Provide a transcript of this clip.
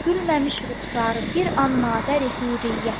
Gülməmiş ruxarı bir an madəri hürriyyətin.